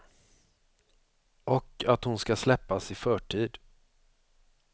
Och att hon ska släppas i förtid.